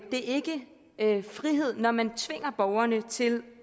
det ikke frihed når man tvinger borgerne til